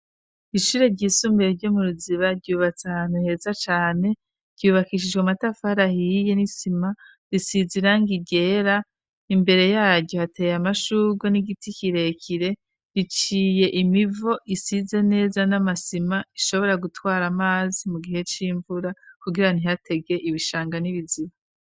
Ishure ryisumbuye ryo mu Ruziba, ryubatse ahantu heza cane, ryubakishijwe amatafari ahiye n'isima, risize irangi ryera, imbere yaryo hateye amashurwe n'igiti kirekire, riciye imivo isize neza n'amasima, ishobora gutwara amazi mu gihe c'imvura kugira ntihatege ibishanga n'ibiziba.